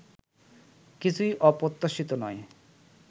কিছুই অপ্রত্যাশিত নয়